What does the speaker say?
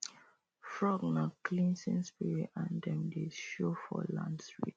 frog nah cleansing spirit and dem dey show for land rituals